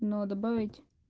но добавить